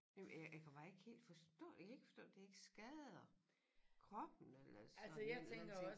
Jamen øh jeg kan bare ikke helt forstå jeg kan ikke forstå det ikke skader kroppen eller sådan en eller anden ting